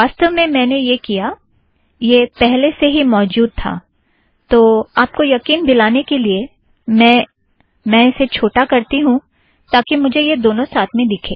वासतव में मैंने यह किया - यह पहले से ही मौजुद था - तो आप को यकीन दिलाने के लिए - मैं इसे छोटा करती हूँ ताकि मुझे यह दोनों साथ में दिखे